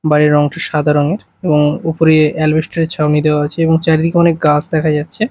বাইরের রংটি সাদা রঙের এবং ওপরে এলভেসটর -এর ছাউনি দেওয়া আছে এবং চারিদিকে অনেক গাছ দেখা যাচ্ছে।